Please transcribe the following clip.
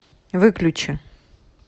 выключи